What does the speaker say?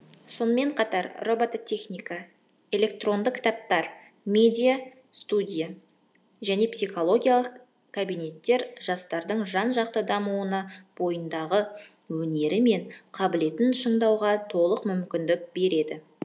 сонымен қатар робототехника электронды кітаптар медиа студия және психологиялық кабинеттер жастардың жан жақты дамуына бойындағы өнері мен қабілетін шыңдауға толық мүмкіндік береді